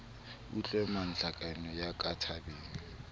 utlwe ntlhakemo ya ka tabeng